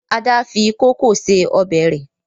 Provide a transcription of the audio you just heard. Ada fí kókò ṣe Ọbẹ̀ re.